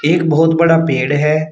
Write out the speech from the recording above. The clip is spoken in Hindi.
एक बहुत बड़ा पेड़ है।